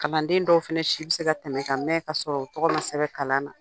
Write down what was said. Kalanden dɔw fana si bɛ se ka tɛmɛ ka mɛn ka sɔrɔ u tɔgɔ ma sɛbɛn kalan na